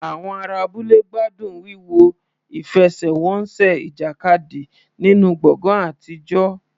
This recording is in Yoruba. Àwọn ará abúlé gbádùn wíwo ìfẹsẹ̀wọnsẹ̀ ìjàkadì nínú gbọ̀ngàn àtijọ́.